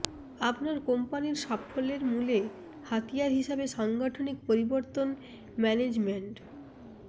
আপনার কোম্পানির সাফল্যের মূল হাতিয়ার হিসেবে সাংগঠনিক পরিবর্তন ম্যানেজমেন্ট